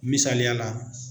Misaliya la.